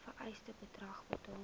vereiste bedrag betaal